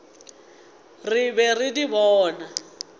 re be re di bona